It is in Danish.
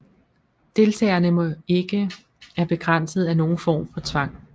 Deltagerne må ikke er begrænset af nogen form for tvang